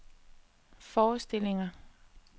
forestillinger